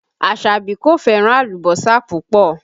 Asabi kò fẹ́ràn alùbọ́sà púpọ̀